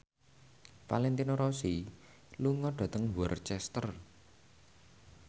Valentino Rossi lunga dhateng Worcester